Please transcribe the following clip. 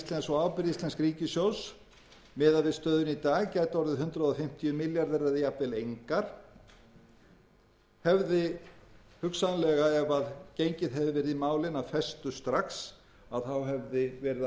og ábyrgð íslensks ríkissjóðs miðað við stöðuna í dag gæti orðið hundrað fimmtíu milljarðar eða jafnvel engar hefði hugsanlega ef gengið hefði verið í málin af festu strax að þá hefði verið alveg ljóst